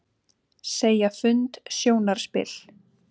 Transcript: Segja fund sjónarspil